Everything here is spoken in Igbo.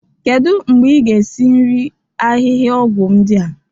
Kedu mgbe ị ga-esi nri ahịhịaọgwụ ndị a?